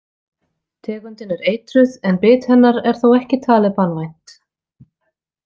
Tegundin er eitruð en bit hennar er þó ekki talið banvænt.